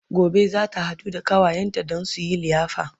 Gobe zata haɗu da ƙawayenta Dan suyi liyafa